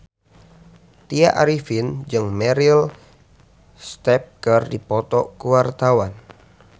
Tya Arifin jeung Meryl Streep keur dipoto ku wartawan